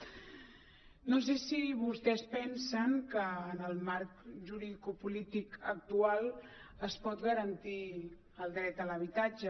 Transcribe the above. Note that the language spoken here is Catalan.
no sé si vostès pensen que en el marc juridicopolític actual es pot garantir el dret a l’habitatge